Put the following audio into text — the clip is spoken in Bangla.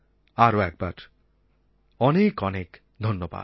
আরও একবার অনেক অনেক ধন্যবাদ